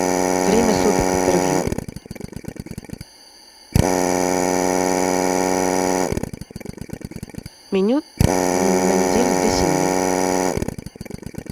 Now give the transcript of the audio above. время суток интервью меню на неделю для семьи